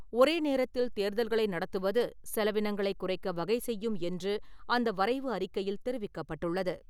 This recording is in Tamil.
ஒரே நேரத்தில் தேர்தல்களை நடத்துவது செலவினங்களை குறைக்க வகை செய்யும் என்று அந்த வரைவு அறிக்கையில் தெரிவிக்கப்பட்டுள்ளது.